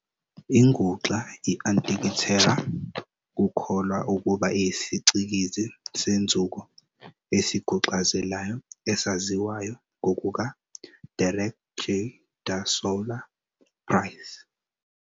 Inguxa i-Antikithera kukholwa ukuba iyisicikizi senzuko esiguxazelayo esaziwayo, ngokuka Derek J. de Solla Price.